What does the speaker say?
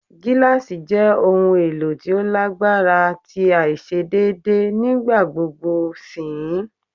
Gilasi jẹ ohun elo ti o lagbara ti aiṣedeede nigbagbogbo sihin